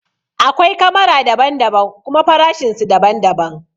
Akwai kamara daban daban kuma farashin su daban daban